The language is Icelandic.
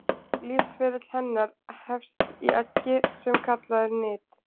lífsferill hennar hefst í eggi sem kallað er nit